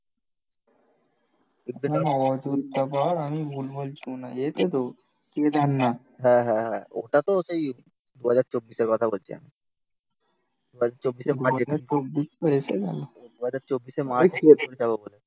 হ্যাঁ হ্যাঁ ওটা তো সেই দু হাজার চব্বিশের কথা বলছি আমি